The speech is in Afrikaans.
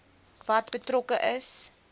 wat betrokke is